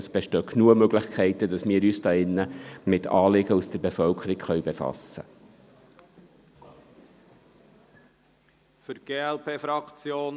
Es bestehen genügend Möglichkeiten, Anliegen aus der Bevölkerung in diesen Rat einzubringen.